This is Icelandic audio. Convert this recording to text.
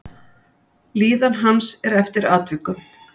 Líðan hans er eftir atvikum.